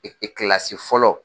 fɔlɔ.